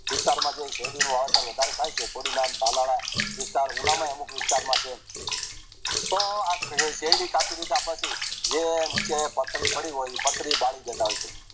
વિસ્તારમાં વધારે થાય છે હોળીનાં ભાલાળા અમુક વિસ્તરામાં જે તો આખરે શેરડી કાપી લીધા પછી જે નીચે પાથરી પડી હોય એ પાથરી બાળી દેતા હોય છે